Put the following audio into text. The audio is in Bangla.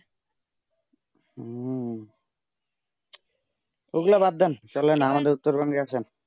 ঐই গুলু বাদ দেন চলেন আমাদের উত্তরবঙ্গে গেছেন